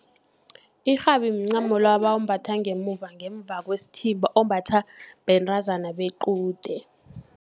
Irhabi mncamo lo ebawumbatha ngemuva, ngemva kwesithimba, ombathwa bentazana bequde.